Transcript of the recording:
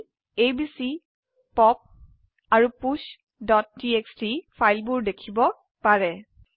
আপোনি ABC pop আৰু push TXT ফাইলবোৰ দেখিব পাৰে